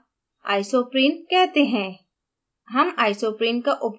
इसे सामान्यतः isoprene कहते हैं